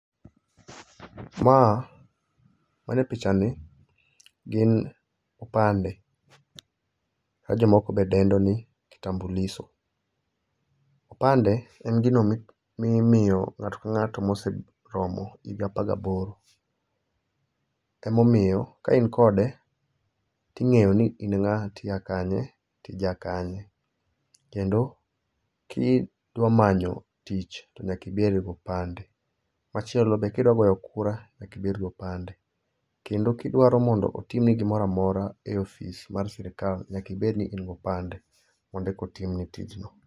Ma, manie picha ni gin opande. Ma jomoko be dendo ni kitambulisho. Opande en gino mimiyo ng'ato ka ng'ato moseromo higa apar gi aboro. Ema omiyo ka in kode, ting'eyo ni in ng'a to iya kanye to ija kanye. Kendo kidwa manyo tich to nyaka ibed gi opande. Machielo be, kidwa goyo kura nyaka ibed gi opande. Kendo kidwaro mondo otim ni gimoro amora e ofis mar sirkal, nyaka ibed ni in gi opande mondo eka timni tij no.